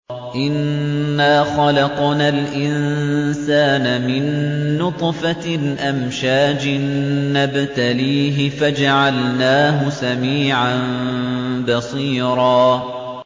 إِنَّا خَلَقْنَا الْإِنسَانَ مِن نُّطْفَةٍ أَمْشَاجٍ نَّبْتَلِيهِ فَجَعَلْنَاهُ سَمِيعًا بَصِيرًا